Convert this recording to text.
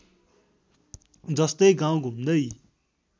जस्तै गाउँ घुम्दै